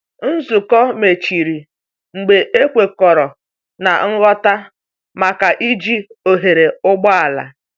Nzukọ mechịrị mgbe a kwekọrọ na ngwọta maka iji oghere ụgbọala.